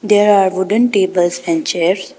There are wooden tables and chairs.